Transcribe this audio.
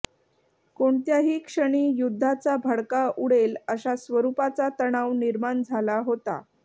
कोणत्याही क्षणी युद्धाचा भडका उडेल अशा स्वरूपाचा तणाव निर्माण झाला होता